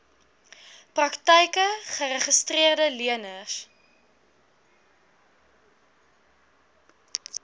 praktyke geregistreede leners